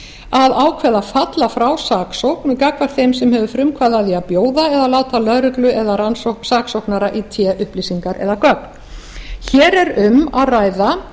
að ákveða að falla frá saksókn gagnvart þeim sem hefur frumkvæði að því að bjóða eða láta lögreglu eða saksóknara í té upplýsingar eða gögn hér er um að ræða